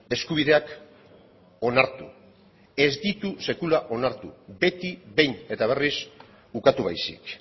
eskubideak onartu ez ditu sekula onartu beti behin eta berriz ukatu baizik